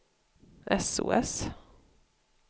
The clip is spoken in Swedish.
sos